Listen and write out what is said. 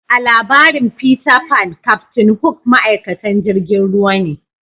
A'labarin Peter Pan captain hook ma'aikatan jirigin ruwa ne.